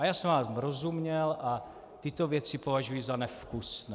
A já jsem vám rozuměl a tyto věci považuji za nevkusné.